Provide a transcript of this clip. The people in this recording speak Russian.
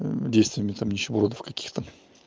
действиями там нищебродов каких-то